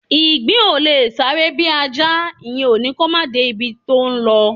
Ìgbín ò lè sáré bí Ajá; ìyẹn ò ní kó máà de ibi tó ńlọ.